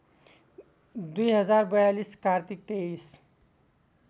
२०४२ कार्तिक २३